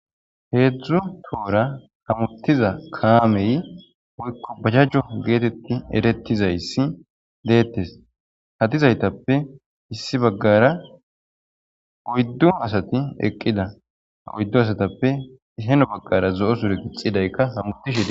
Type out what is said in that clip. heedzdzu toora hamuttiza kaamey woykko bajajjo geetetti erettizayssi deettes ha dizaytappe issi baggara oyddu asati eqqida oyddu asatappe heno baggara zo'o sure gixxidaykka hamutishe des